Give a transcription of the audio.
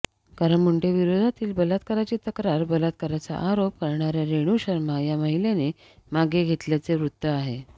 कारण मुंडेविरोधातील बलात्काराची तक्रार बलात्काराचा आरोप करणाऱ्या रेणू शर्मा या महिलेने मागे घेतल्याचे वृत्त आहे